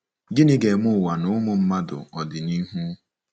Gịnị ga-eme ụwa na ụmụ mmadụ ọdịnihu?